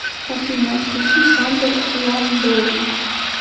афина включи сандер ван дорн